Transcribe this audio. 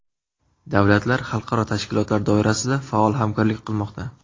Davlatlar xalqaro tashkilotlar doirasida faol hamkorlik qilmoqda.